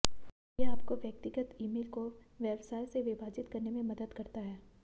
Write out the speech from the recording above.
यह आपको व्यक्तिगत ईमेल को व्यवसाय से विभाजित करने में मदद करता है